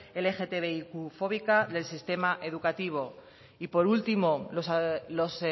lgtbiqfóbica del sistema educativo y por último los